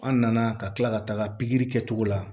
An nana ka kila ka taga pikiri kɛcogo la